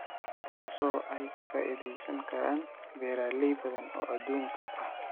taasoo ay ka faa�iidaysan karaan beeraley badan oo adduunka ah.